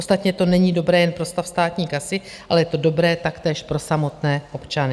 Ostatně to není dobré jen pro stav státní kasy, ale je to dobré taktéž pro samotné občany.